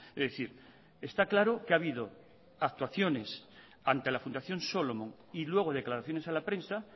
es decir está claro que ha habido actuaciones ante la fundación solomon y luego declaraciones a la prensa